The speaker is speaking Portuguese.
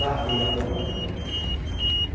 Larguei a banda.